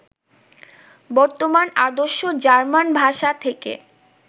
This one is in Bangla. বর্তমান আদর্শ জার্মান ভাষা থেকে